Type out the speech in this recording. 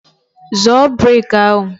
Zọọ brek ahụ!